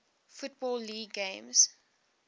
football league games